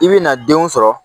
I bɛna denw sɔrɔ